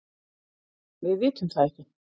Við vitum það ekki